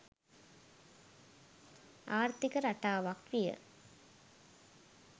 ආර්ථික රටාවක් විය